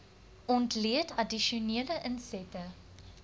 ontleed addisionele insette